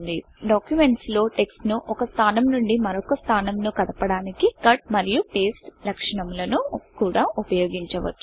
documents లో text ను ఒక స్థానం నుండి మరొక స్థానంనకు కదపడానికి Cutకట్ మరియు pasteపేస్ట్ లక్షణము ను కూడా ఉపయోగించవచ్చు